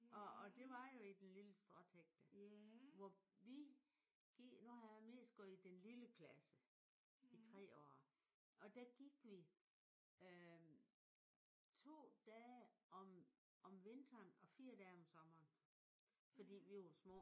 Og og det var jo i den lille stråtækte hvor vi nu har jeg mest gået i den lille klasse i 3 år. Og der gik vi øh 2 dage om vinteren og 4 dage om sommeren fordi vi var små